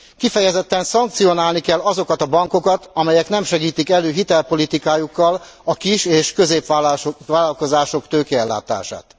Kifejezetten szankcionálni kell azokat a bankokat, amelyek nem segítik elő hitelpolitikájukkal a kis és középvállalkozások tőkeellátását.